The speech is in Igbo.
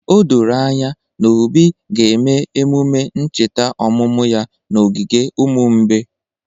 O doro anya na Obi ga-eme emume ncheta ọmụmụ ya n’ogige ụmụ mgbei